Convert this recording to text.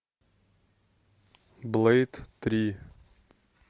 блэйд три